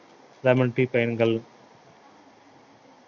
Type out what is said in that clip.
lemon tea பயன்கள்